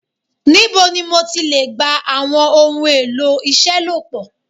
Nibo ni mo ti le gba awọn ohun elo iṣelọpọ